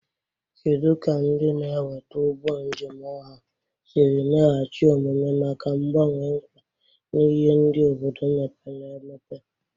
Kedu ka ndị na-eweta ụgbọ njem ọha siri meghachi omume maka mgbanwe mkpa na ihe ndị obodo mepere emepe?